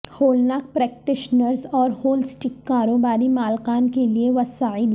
ہولناک practitioners اور holistic کاروباری مالکان کے لئے وسائل